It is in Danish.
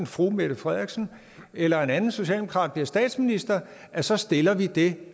fru mette frederiksen eller en anden socialdemokrat bliver statsminister så stiller det